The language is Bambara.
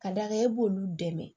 Ka d'a kan e b'olu dɛmɛ